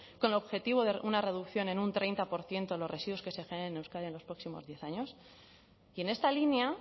con el objetivo de una reducción en un treinta por ciento de los residuos que se generen en euskadi en los próximos diez años y en esta línea